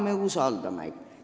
Keda me usaldame?